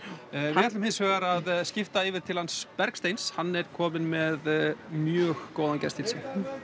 við ætlum hins vegar að skipta yfir til hans Bergsteins hann er kominn með mjög góðan gest til sín